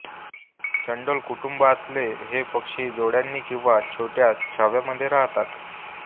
चंडोल कुटुंबातले हे पक्षी जोड्यांनी किंवा छोट्या थाव्यांमध्ये राहतात